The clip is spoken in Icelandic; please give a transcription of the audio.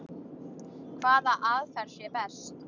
Hvaða aðferð sé best.